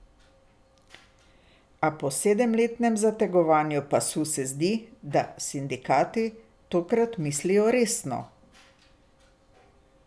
A po sedemletnem zategovanju pasu se zdi, da sindikati tokrat mislijo resno.